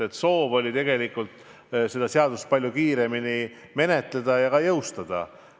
Aga soov oli tegelikult seda seaduseelnõu palju kiiremini menetleda ja ka jõustada.